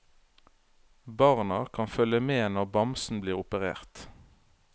Barna kan følge med når bamsen blir operert.